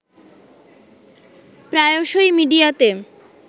প্রায়শই মিডিয়াতে